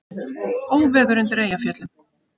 Óveður undir Eyjafjöllum